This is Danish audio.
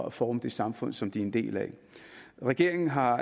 at forme det samfund som de er en del af regeringen har